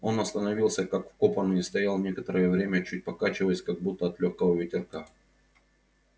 он остановился как вкопанный и стоял некоторое время чуть покачиваясь как будто от лёгкого ветерка